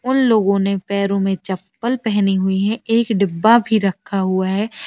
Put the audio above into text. उन लोगों ने पैरों में चप्पल पहनी हुई है। एक डिब्बा भी रखा हुआ है।